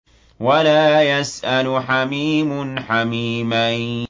وَلَا يَسْأَلُ حَمِيمٌ حَمِيمًا